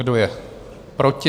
Kdo je proti?